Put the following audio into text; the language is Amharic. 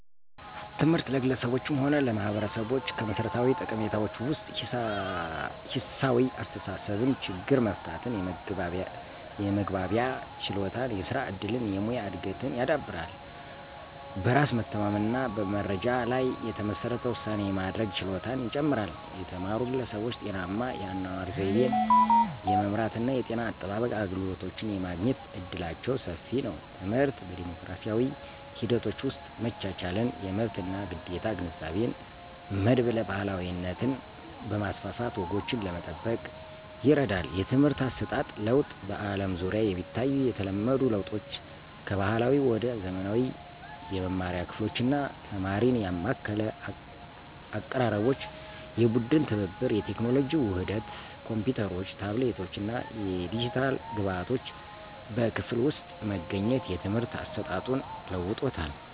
ትምህርት ለግለሰቦችም ሆነ ለማህበረሰቦች ከመሠረታዊ ጠቀሜታዎች ውስጥ ሂሳዊ አስተሳሰብን፣ ችግር መፍታትን፣ የመግባቢያ ችሎታን፣ የስራ እድልን፣ የሙያ እድገትን ያዳብራል። በራስ መተማመንን እና በመረጃ ላይ የተመሠረተ ውሳኔ የማድረግ ችሎታን ይጨምራል። የተማሩ ግለሰቦች ጤናማ የአኗኗር ዘይቤን የመምራት እና የጤና አጠባበቅ አገልግሎቶችን የማግኘት እድላቸው ሰፊ ነው። ትምህርት በዲሞክራሲያዊ ሂደቶች ውስጥ መቻቻልን፣ የመብት እና ግዴታ ግንዛቤን፣ መድብለ ባህላዊነትን በማስፋፋት ወጎችን ለመጠበቅ ይረዳል። የትምህርት አሰጣጥ ለውጥ በአለም ዙሪያ የሚታዩ የተለመዱ ለውጦች ከባህላዊ ወደ ዘመናዊ የመማሪያ ክፍሎች እና ተማሪን ያማከለ አቀራረቦች፣ የቡድን ትብብር፣ የቴክኖሎጂ ውህደት ኮምፒውተሮች፣ ታብሌቶች እና የዲጂታል ግብዓቶች በክፍል ውስጥ መገኘት የትምህርት አሰጣጡን ለውጦታል።